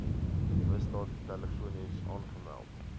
misdaad telefonies aangemeld